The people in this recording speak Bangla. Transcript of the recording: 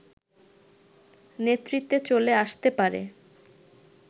নেতৃত্বে চলে আসতে পারে